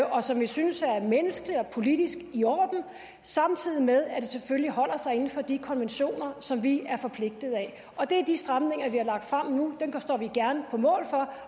og som vi synes er menneskeligt og politisk i orden samtidig med at det selvfølgelig holder sig inden for de konventioner som vi er forpligtet af det er de stramninger vi har lagt frem nu dem står vi gerne på mål for